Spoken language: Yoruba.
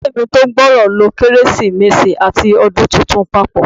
Ìdílé mi tó gbòòrò lo Kérésìmesì àti Ọdún Tuntun papọ.